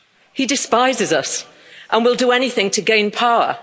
He despises us and will do anything to gain power.